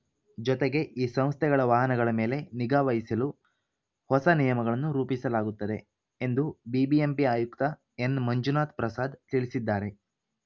ಜೊತೆಗೆ ಈ ಸಂಸ್ಥೆಗಳ ವಾಹನಗಳ ಮೇಲೆ ನಿಗಾ ವಹಿಸಲು ಹೊಸ ನಿಯಮಗಳನ್ನು ರೂಪಿಸಲಾಗುತ್ತದೆ ಎಂದು ಬಿಬಿಎಂಪಿ ಆಯುಕ್ತ ಎನ್‌ಮಂಜುನಾಥ್‌ ಪ್ರಸಾದ್‌ ತಿಳಿಸಿದ್ದಾರೆ